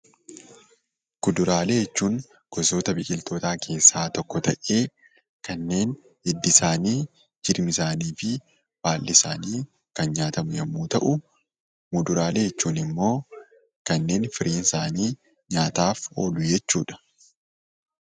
Kuduraalee jechuun gosoota biqiltootaa keessaa tokko ta'ee kanneen hiddi isaanii, jirmi isaanii fi baalli isaanii kan nyaatamu yommuu ta'u, muduraalee jechuun immoo kanneen firiin isaanii nyaataaf oolu jechuu dha.